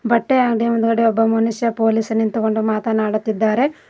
ಬಟ್ಟೆ ಅಂಗಡಿ ಮುಂದುಗಡೆ ಒಬ್ಬ ಮನುಷ್ಯ ಪೊಲೀಸ್ ನಿಂತುಕೊಂಡು ಮಾತನಾಡುತ್ತಿದ್ದಾರೆ.